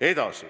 Edasi,